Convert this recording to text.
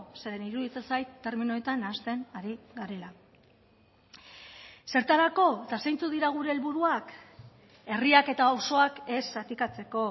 zeren iruditzen zait terminoetan nahasten ari garela zertarako eta zeintzuk dira gure helburuak herriak eta auzoak ez zatikatzeko